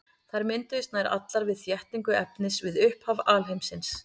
Þær mynduðust nær allar við þéttingu efnis við upphaf alheimsins.